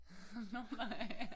Nå nej